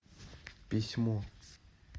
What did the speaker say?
письмо